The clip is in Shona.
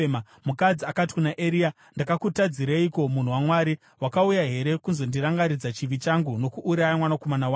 Mukadzi akati kuna Eria, “Ndakakutadzireiko, munhu waMwari? Wakauya here kuzondirangaridza chivi changu nokuuraya mwanakomana wangu?”